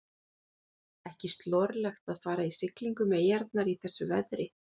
Ekki slorlegt að fara í siglingu um eyjarnar í þessu veðri.